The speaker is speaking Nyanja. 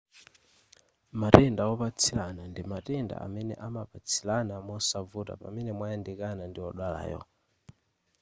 matenda opatsilana ndi matenda amene amapatsilana mosavuta pamene mwayandikana ndi odwalayo